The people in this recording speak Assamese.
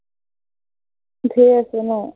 ঢেৰ আছে ন?